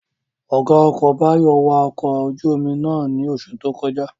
Ọ̀gá ọkọ̀ Báyọ̀ wa ọkọ̀ ojú-omi náà ní oṣù tó kọjá